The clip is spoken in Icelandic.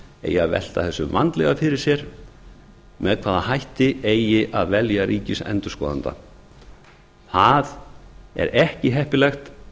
eigi að velta þessu vandlega fyrir sér með hvaða hætti eigi að velja ríkisendurskoðanda það er ekki heppilegt